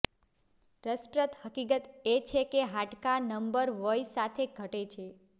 રસપ્રદ હકીકત એ છે કે હાડકા નંબર વય સાથે ઘટે છે